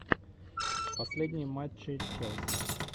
последние матчи челси